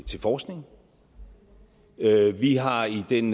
til forskning vi har i den